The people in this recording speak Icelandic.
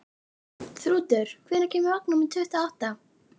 Þrútur, hvenær kemur vagn númer tuttugu og átta?